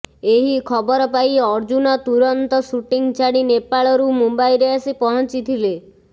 ଏହି ଖବର ପାଇ ଅର୍ଜୁନ ତୁରନ୍ତ ସୁଟିଂ ଛାଡ଼ି ନେପାଳରୁ ମୁମ୍ବାଇରେ ଆସି ପହଞ୍ଚିଥିଲେ